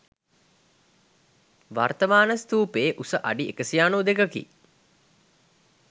වර්තමාන ස්තූපයේ උස අඩි 192 කි.